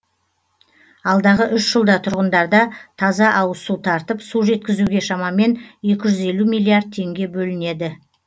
алдағы үш жылда тұрғындарда таза ауызсу тартып су жеткізуге шамамен екі жүз елу миллиард теңге бөлінеді